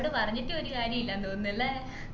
ഓട് പറഞിട്ടും ഒരു കാര്യുല്ലന്ന് തോന്നുന്നല്ലേ